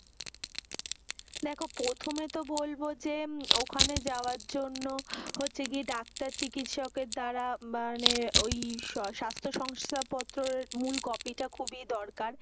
দেখো প্রথমে তো বলবো যে ওখানে যাওয়ার জন্য হচ্ছে কি ডাক্তার, চিকিৎসকের দ্বারা মানে ঐ স্বাস্থ্য শংসাপত্রের মূল কপিটা খুবই দরকার।